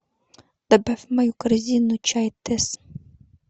добавь в мою корзину чай тесс